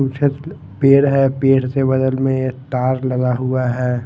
छत प पेड़ है पेड़ से बगल में तार लगा हुआ है।